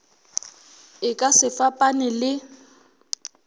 e ka se fapane le